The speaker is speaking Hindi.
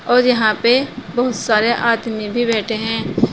और यहां पे बहुत सारे आदमी भी बैठे है।